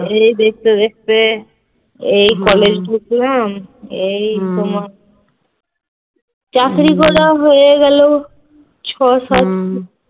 এই দেখতে দেখতে এই college ঢুকলাম এই তোমার চাকরি করা হয়ে গেল ছয়-সাত